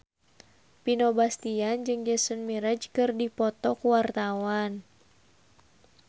Vino Bastian jeung Jason Mraz keur dipoto ku wartawan